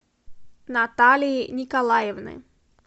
наталии николаевны